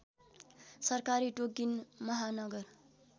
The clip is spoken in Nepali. सरकारी टोकिन महानगर